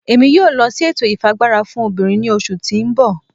Emi yóò lọ si ètò ifiagbara fún obìnrín ni oṣu ti n bọ